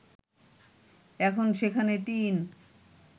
এখন সেখানে টিন